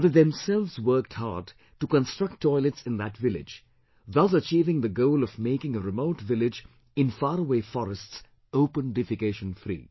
And they themselves worked hard to construct toilets in that village, thus achieving the goal of making a remote village in faraway forests Open Defecation Free